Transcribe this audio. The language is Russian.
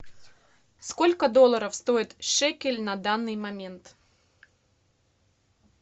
сколько долларов стоит шекель на данный момент